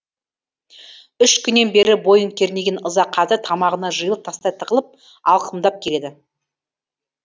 үш күннен бері бойын кернеген ыза қазір тамағына жиылып тастай тығылып алқымдап келеді